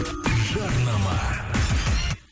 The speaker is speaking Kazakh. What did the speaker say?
жарнама